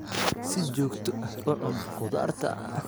Si joogto ah u cun khudaarta.